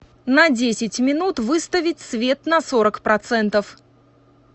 на десять минут выставить свет на сорок процентов